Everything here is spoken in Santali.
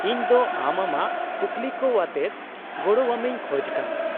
-ᱤᱧ ᱫᱚ ᱟᱢ ᱟᱢᱟᱜ ᱠᱩᱠᱞᱤᱠᱚᱣᱟᱛᱮᱫ ᱜᱚᱲᱚᱣᱟᱢᱤᱧ ᱠᱷᱚᱡ ᱠᱟᱱᱟ ᱾